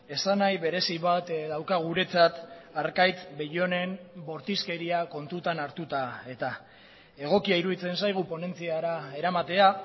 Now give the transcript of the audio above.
esan nahi berezi bat dauka guretzat arkaitz bellónen bortizkeria kontutan hartuta eta egokia iruditzen zaigu ponentziara eramatea